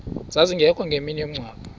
zazingekho ngemini yomngcwabo